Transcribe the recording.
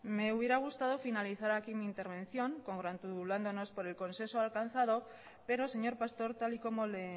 me hubiera gustado finalizar aquí mi intervención congratulándonos por el consenso alcanzado pero señor pastor tal y como le